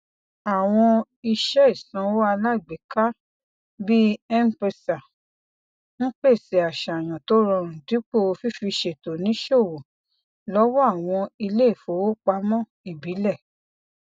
àwọn iṣẹ ìsanwó alágbèéká bíi mpesa ń pèsè àṣàyàn tó rọrùn dípò fífiṣètò níṣòwò lọwọ àwọn iléifowopamọ ìbílẹ